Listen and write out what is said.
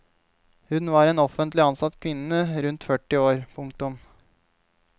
Hun var en offentlig ansatt kvinne rundt førti år. punktum